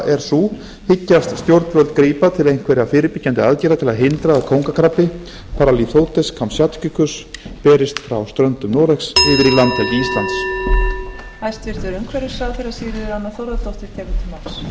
er sú hyggjast stjórnvöld grípa til einhverra fyrirbyggjandi aðgerða til að hindra að kóngakrabbi berist frá ströndum noregs yfir í landhelgi íslands